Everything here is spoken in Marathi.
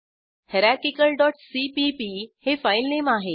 हायरार्किकल डॉट सीपीपी हे फाईलनेम आहे